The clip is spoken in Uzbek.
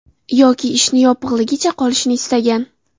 Yoki ishni yopig‘ligicha qolishini istagan.